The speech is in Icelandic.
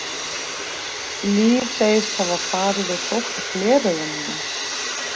Líf segist hafa farið og sótt gleraugun mín.